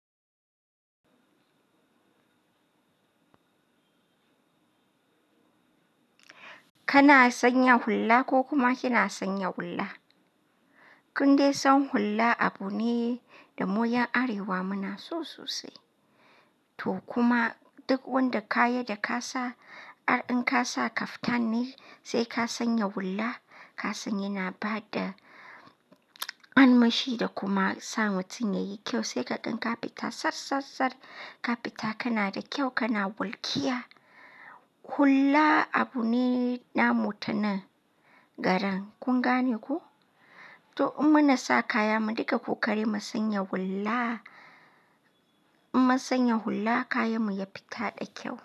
Kana sanya hulla ko kuma kina sanya hulla. Kun dai san hulla abu ne da mu ƴan Arewa muna so sosai. To kuma duk wanda kaya da ka sa, ar in ka sa kaftan ne sai ka sanya hulla. Ka san ya na bada armashi da kuma sa mutum yayi kyau sai ka gan ka fita tsab tsab tsab ka fita kana da kyau kana wulkiya. Hulla abu ne na mu ta nan garin kun gane ku? To in muna sa kaya mu dinga kokari mu sanya hulla. In mun sanya hulla kayan mu ya fita da kyau.